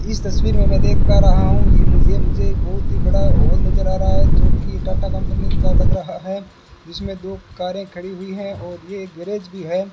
इस तस्वीर में देख पा रहा हूं ये मू ये मुझे बहुत ही बड़ा हॉल नजर आ रहा है जोकि टाटा कंपनी का लग रहा है इसमें दो कारें खड़ी हुई हैं और ये एक गैरेज भी है।